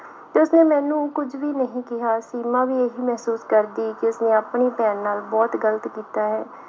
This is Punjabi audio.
ਤੇ ਉਸਨੇ ਮੈਨੂੰ ਕੁੱਝ ਵੀ ਨਹੀਂ ਕਿਹਾ, ਸੀਮਾ ਵੀ ਇਹੀ ਮਹਿਸੂਸ ਕਰਦੀ ਕਿ ਉਸਨੇ ਆਪਣੀ ਭੈਣ ਨਾਲ ਬਹੁਤ ਗ਼ਲਤ ਕੀਤਾ ਹੈ।